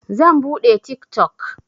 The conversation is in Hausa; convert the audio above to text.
Zan buɗe tik tok.